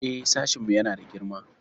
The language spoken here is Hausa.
Eh, sashinmu yana da girma.